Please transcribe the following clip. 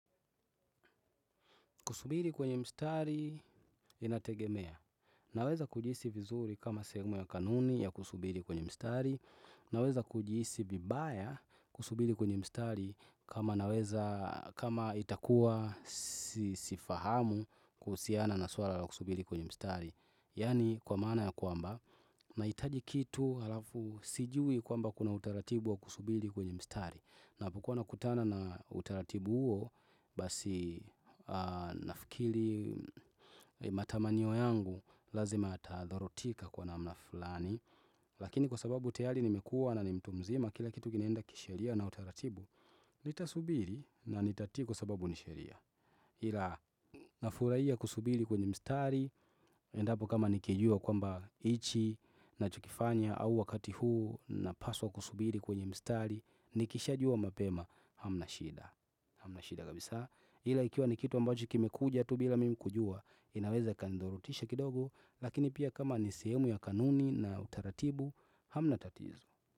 Kusubiti kwenye mstari, inategemea. Naweza kujihisi vizuri kama sehemu ya kanuni ya kusubiri kwenye mstari. Naweza kujihisi vibaya kusubiri kwenye mstari kama itakuwa sifahamu kuhusiana na suala la kusubiri kwenye mstari. Yaani kwa maana ya kwamba, nahitaji kitu alafu sijui kwamba kuna utaratibu wa kusubiri kwenye mstari. Napokuwa nakutana na utaratibu huo basi nafikiri matamanio yangu lazima yatadharotika kwa namna fulani Lakini kwa sababu tiari nimekua na ni mtu mzima kila kitu kinaenda kisheria na utaratibu Nitasubiri na nitatii kwa sababu ni sheria ila nafurahia kusubiri kwenye mstari Endapo kama nikijua kwamba hichi nachokifanya au wakati huu napaswa kusubiri kwenye mstari Nikisha jua mapema hamna shida Hamna shida kabisa. Ila ikiwa ni kitu ambacho kimekuja tu bila mimi kujua inaweza ikanidhorotisha kidogo Lakini pia kama ni sehemu ya kanuni na utaratibu Hamna tatizo.